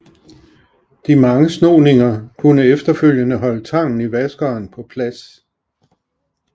De mange snoninger kunne efterfølgende holde tangen i vaskeren på plads